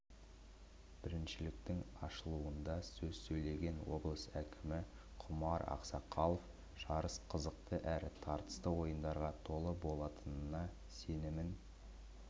біріншіліктің ашылуында сөз сөйлеген облыс әкімі құмар ақсақалов жарыс қызықты әрі тартысты ойындарға толы болатынына сенімін